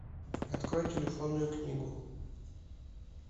открой телефонную книгу